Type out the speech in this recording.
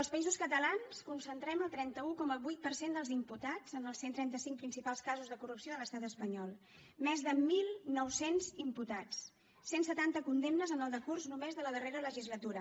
els països catalans concentrem el trenta un coma vuit per cent dels imputats en els cent i trenta cinc principals casos de corrupció de l’estat espanyol més de mil nou cents imputats cent i setanta condemnes en el decurs només de la darrera legislatura